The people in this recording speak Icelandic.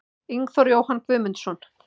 Ingþór Jóhann Guðmundsson